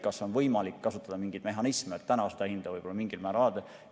Kas on võimalik kasutada mingeid mehhanisme, et täna seda hinda võib-olla mingil määral alandada?